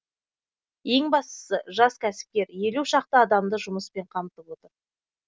ең бастысы жас кәсіпкер елу шақты адамды жұмыспен қамтып отыр